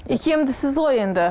икемдісіз ғой енді